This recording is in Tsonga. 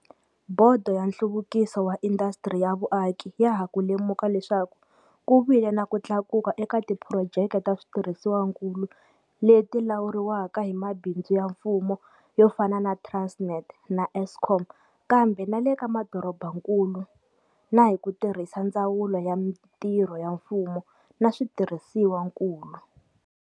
Bodo ya Nhluvukiso wa Indasitiri ya Vuaki ya ha ku lemuka leswaku ku vile na ku tlakuka eka tiphurojeke ta switirhisiwakulu leti lawuriwaka hi mabindzu ya mfumo yo fana na Transnet na Eskom, kambe na le ka madorobakulu na hi ku tirhisa Ndzawulo ya Mitirho ya Mfumo na Switirhisiwakulu.